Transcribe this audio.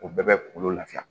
O bɛɛ bɛ kungolo lafiya